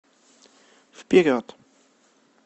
вперед